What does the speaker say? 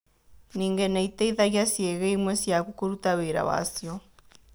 Ningĩ nĩ ĩteithagia ciĩga imwe ciaku kũruta wĩra wacio.